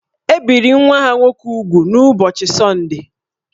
E biri nwa ha nwoke úgwù n’ụbọchị Sọndee